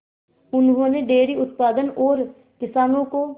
उन्होंने डेयरी उत्पादन और किसानों को